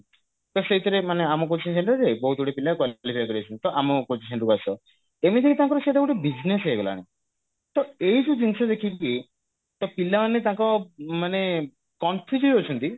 ତ ସେଇଥିରେ ମାନେ ଆମ coaching centre ରେ ବହୁତ ଗୁଡିଏ ପିଲା qualify କରିଯାଇଛନ୍ତି ତ ଆମ coaching centre କୁ ଆସ ଏମିତିରେ ବି ସେଇଟା ତାଙ୍କର ଗୋଟେ business ହେଇଗଲାଣି ତ ଏଇ ଯଉ ଜିନିଷ ଦେଖିକି ତ ପିଲାମାନେ ତାଙ୍କ ମାନେ confuse ରେ ଅଛନ୍ତି